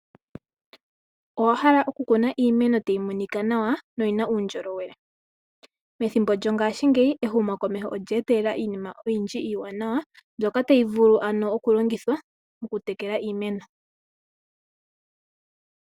Owahala oku kuna iimeno tayi monika nawa yo oyina uundjolowele? Methimbo lyongaashingeyi ehumo komeho olyeetelela iinima oyindji iiwanawa, mbyoka tayi vulu oku longithwa moku tekela iimeno.